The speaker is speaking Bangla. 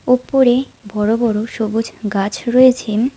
ওপরে বড়ো বড়ো সবুজ গাছ রয়েছে।